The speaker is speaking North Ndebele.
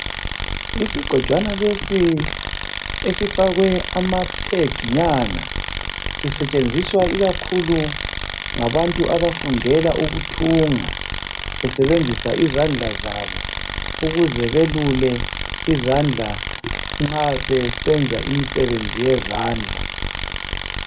Isigojwanana lesi esifakwe amaphiginyana, sisetshenziswa khakhulu ngabantu abafundela ukuthunga besebenzisa izandla zabo. Ukuze belule izandla nxa sebenza imisebenzi yendla.